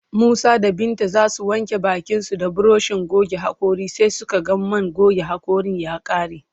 Musa da Binta za su wanke bakinsu da burushin goge haƙora sai suka ga man goge haƙoran ya ƙare